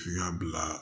N y'a bila